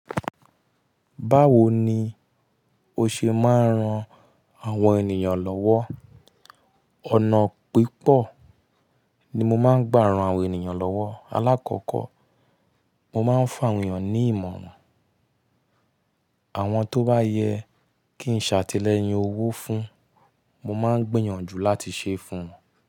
Báwo ni o ṣe máa ń ran àwọn ènìyàn lọ́wọ́? Ọ̀nà pípọ̀ ni mo máa ń gbà ran àwọn ènìyàn lọ́wọ́. Alákọ̀kọ́, mo máa ń fun àwọn ènìyàn ní ìmọ̀ràn. Àwọn tó bá yẹ kí ń ṣàtìlẹ́yìn owó fún, mo máa ń gbìyànjú láti ṣe fún wọn.